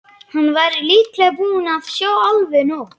Hann væri líklega búinn að sjá alveg nóg.